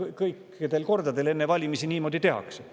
Me ju teame, et seda enne valimisi iga kord tehakse.